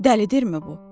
Dəlidirmi bu?